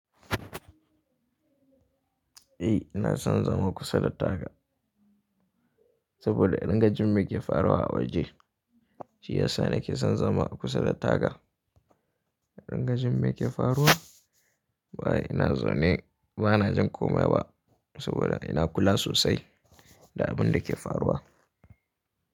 Eh ina son zama kusa da taga saboda in riga jimme ke faruwa a waje. Shi ya sa nake son zama a kusa da taga. In riga jimme ke faruwa. Wa ina zaune bana jin komai ba saboda ina kula sosai da abin da ke faruwa.